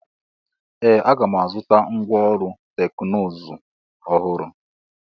Ee! A ga-azụta ngwá ọrụ teknụzụ ọhụrụ.